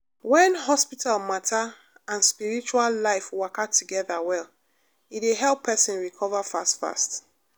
when hospital matter and spiritual life waka together well e dey help person recover fast fast